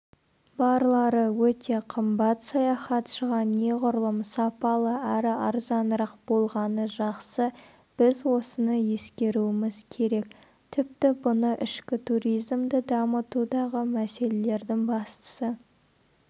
барлары өте қымбат саяхатшыға неғұрлым сапалы әрі арзанырақ болғаны жақсы біз осыны ескеруіміз керек тіпті бұны ішкі туризмді дамытудағы мәселелердің бастысы